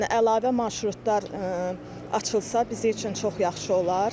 Yəni əlavə marşrutlar açılsa, bizim üçün çox yaxşı olar.